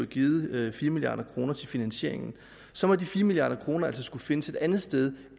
givet fire milliard kroner til finansieringen så må de fire milliard kroner altså skulle findes et andet sted